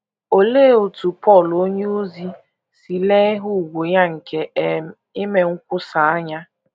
Olee otú Pọl onyeozi si lee ihe ùgwù ya nke um ime nkwusa anya?